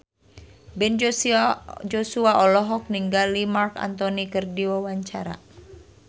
Ben Joshua olohok ningali Marc Anthony keur diwawancara